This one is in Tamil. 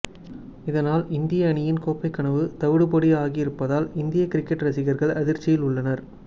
இதனால் இந்திய அணியின் கோப்பை கனவு தவிடுபொடி ஆகியிருப்பதால் இந்திய கிரிக்கெட் ரசிகர்கள் அதிர்ச்சியில் உள்ளனர்